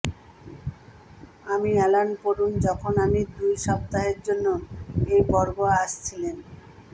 আমি অ্যালান পূরণ যখন আমি দুই সপ্তাহের জন্য এই বর্গ আসছিলেন